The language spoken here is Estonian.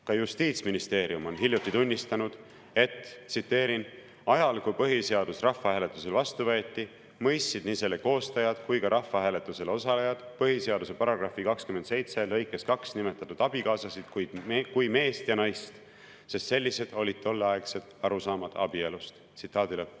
Ka Justiitsministeerium on hiljuti tunnistanud, et ajal, kui põhiseadus rahvahääletusel vastu võeti, mõistsid nii selle koostajad kui ka rahvahääletusel osalejad põhiseaduse § 27 lõikes 2 nimetatud abikaasasid kui meest ja naist, sest sellised olid tolleaegsed arusaamad abielust.